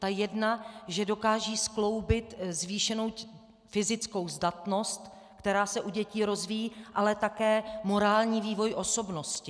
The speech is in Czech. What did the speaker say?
Ta jedna, že dokážou skloubit zvýšenou fyzickou zdatnost, která se u dětí rozvíjí, ale také morální vývoj osobnosti.